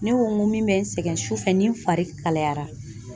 Ne ko n ko min bɛ n sɛgɛn su fɛ ni n fari kaliyara